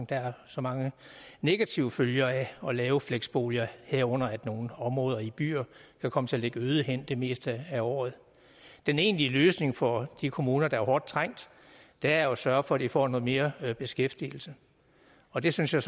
der er så mange negative følger af at lave fleksboliger herunder at nogle områder i byer kan komme til at ligge øde hen det meste af året den egentlige løsning for de kommuner der er hårdt trængt er jo at sørge for at de får noget mere beskæftigelse og det synes jeg